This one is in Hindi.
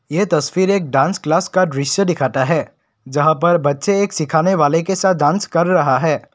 ये तस्वीर एक डांस क्लास का दृश्य दिखाता है यहां पर बच्चे एक सिखाने वाले के साथ डांस कर रहा है।